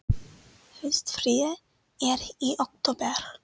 Haustfríið er í október.